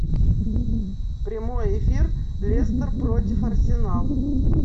прямой эфир лестер против арсенал